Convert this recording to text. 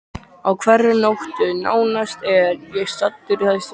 Á hverri nóttu nánast er ég staddur í þessu húsi.